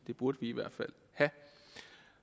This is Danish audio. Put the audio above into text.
det burde vi i hvert fald have